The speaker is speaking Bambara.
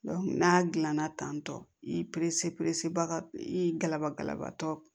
n'a gilanna tantɔ i i galabatɔ